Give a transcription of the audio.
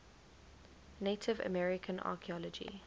native american archeology